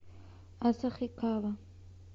асахикава